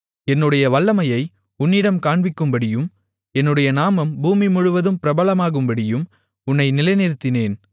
என்னுடைய வல்லமையை உன்னிடம் காண்பிக்கும்படியும் என்னுடைய நாமம் பூமி முழுவதும் பிரபலமாகும்படியும் உன்னை நிலைநிறுத்தினேன்